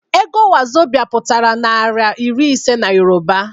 Ego 'wazobia' pụtara naira iri ise n'Yoruba